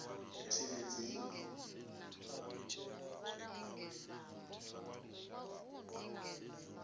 tshilidzini